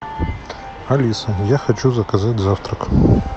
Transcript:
алиса я хочу заказать завтрак